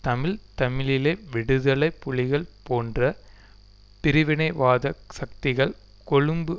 தமிழ் தமிழீழ விடுதலை புலிகள் போன்ற பிரிவினைவாத சக்திகள் கொழும்பு